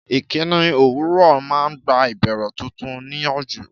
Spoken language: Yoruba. Ìkíni òwúrọ̀ máa ń gba ìbẹ̀rẹ̀ tuntun níyànjú.